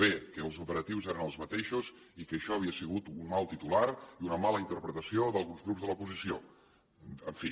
bé que els operatius eren els mateixos i que això havia sigut un mal titular i una mala interpretació d’alguns grups de l’oposició en fi